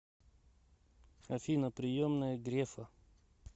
афина приемная грефа